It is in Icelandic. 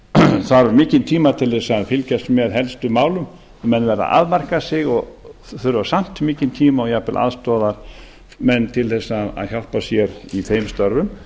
það þarf mikinn tíma til þess að fylgjast með helstu málum menn verða að afmarka sig og þurfa samt mikinn tíma og jafnvel aðstoðarmenn til að hjálpa sér í þeim störfum